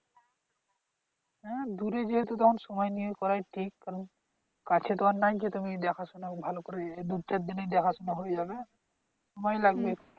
হ্যাঁ দূরে যেহেতু তখন সময় নিয়ে করাই ঠিক কারণ কাছে তো আর নয় যেতুমি দেখাশুনা ভালো করে দুই-চারদিনে দেখাশুনা হয়ে যাবে সময় লাগবে